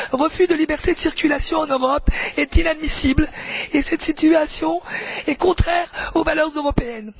refus de liberté de circulation en Europe est inadmissible et cette situation est contraire aux valeurs européennes.